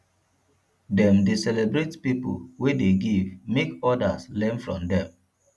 dem dey celebrate pipo wey dey give make odas learn from dem